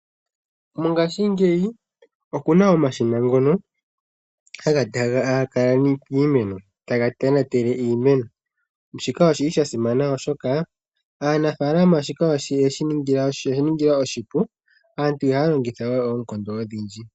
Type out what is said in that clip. Mongashingeyi okuna omashina ngono, haga kala miimeno taga tonatele iimeno shika oshili sha simana oshoka aanafalama shika oyeshi ningila oshipu aantu ihaya longitha we oonkondo odhindji.